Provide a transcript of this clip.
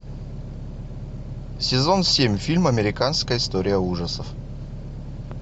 сезон семь фильм американская история ужасов